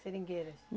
Seringueiras?